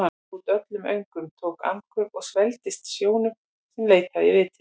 Hann baðaði út öllum öngum, tók andköf og svelgdist á sjónum sem leitaði í vitin.